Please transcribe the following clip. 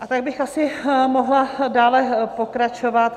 A tak bych asi mohla dále pokračovat.